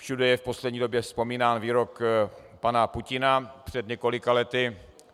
Všude je v poslední době vzpomínán výrok pana Putina před několika lety.